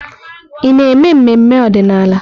Ị na-eme mmemme ọdịnala?